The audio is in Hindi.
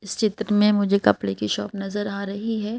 इस चित्र में मुझे कपड़े की शॉप नजर आ रही है।